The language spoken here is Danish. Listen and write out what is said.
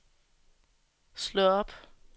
slå op